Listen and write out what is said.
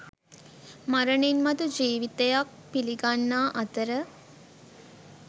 මරණින් මතු ජීවිතයක් පිළිගන්නා අතර